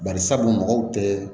Bari sabu dun mɔgɔw tɛ